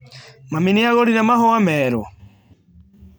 Mami nĩ agũrire mahũa merũ?